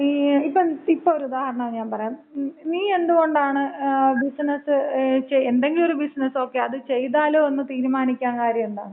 ഈ, ഇപ്പൊ ഇപ്പൊ ഒരുദാഹരണം ഞാൻ പറയാം. നീ എന്ത് കൊണ്ടാണ് ബിസ്നസ്, എന്തെങ്കിലും ഒരു ബിസിനസ്, ഓക്കേ. അത് ചെയ്താലോ എന്ന് തീരുമാനിക്കാൻ കാര്യം എന്താണ്?